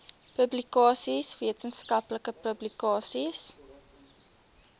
publikasies wetenskaplike publikasies